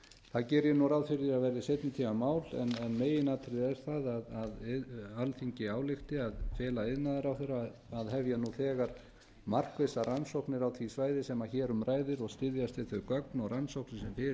það geri ég ráð fyrir að verði seinni tíma mál en meginatriðið er það að alþingi álykti að fela iðnaðarráðherra að hefja nú þegar markvissar rannsóknir á því svæði sem hér um ræðir og styðjast við þau gögn og rannsóknir sem fyrir eru en